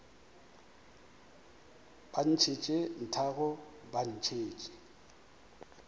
ba ntšhetše nthago ba ntšhetše